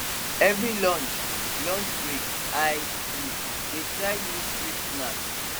every lunch lunch break i um dey try new street snack